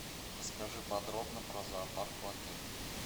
расскажи подробно про зоопарк в отеле